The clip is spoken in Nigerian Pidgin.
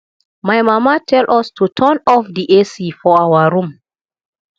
my mama tell us to turn off the ac for our room